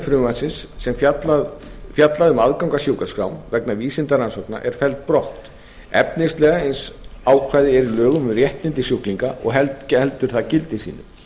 frumvarpsins sem fjallar um aðgang að sjúkraskrám vegna vísindarannsókna er felld brott efnislega eins ákvæði er í lögum um réttindi sjúklinga og heldur það gildi sínu